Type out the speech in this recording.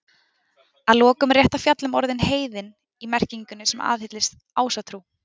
Að lokum er rétt að fjalla um orðið heiðinn í merkingunni sem aðhyllist Ásatrú.